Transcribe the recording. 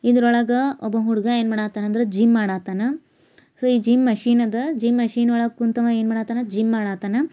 ಇದ್ರ ಒಳಗ ಒಬ್ಬ ಹುಡುಗ ಏನ್ ಮಾಡತಾನ ಅಂದ್ರೆ ಜಿಮ್ ಮಾಡತಾನ ಸೊ ಈ ಜಿಮ್ ಮಷೀನ್ ಅದ ಜಿಮ್ ಮಷೀನ್ ಒಳಗೆ ಕುಂತು ಅವ ಏನ್ ಮಾಡುತ್ತಾನ ಜಿಮ್ ಮಾಡತಾನ.